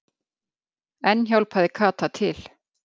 Enn hjálpaði Kata til.